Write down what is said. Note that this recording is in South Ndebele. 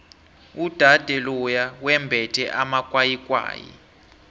udade loya wembethe amakwayikwayi